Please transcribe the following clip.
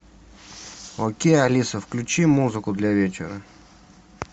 окей алиса включи музыку для вечера